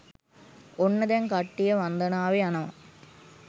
ඔන්න දැන් කට්ටිය වන්දනාවෙ යනව